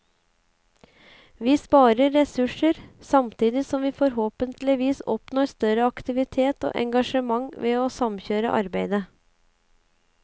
Vi sparer ressurser, samtidig som vi forhåpentligvis oppnår større aktivitet og engasjement ved å samkjøre arbeidet.